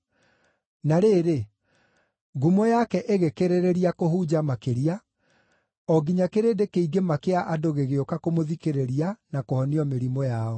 Na rĩrĩ, ngumo yake ĩgĩkĩrĩrĩria kũhunja makĩria, o nginya kĩrĩndĩ kĩingĩ ma kĩa andũ gĩgĩũka kũmũthikĩrĩria na kũhonio mĩrimũ yao.